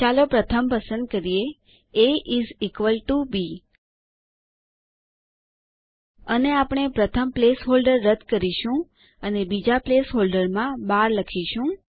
ચાલો પ્રથમ પસંદ કરીએ A is equal to B અને આપણે પ્રથમ પ્લેસહોલ્ડર રદ કરીશું અને બીજા પ્લેસહોલ્ડરમાં 12 લખીશું